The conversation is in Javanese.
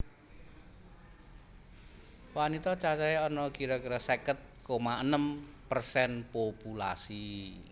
Wanita cacahé ana kira kira seket koma enem persen populasi